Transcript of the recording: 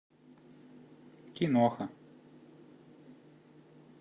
киноха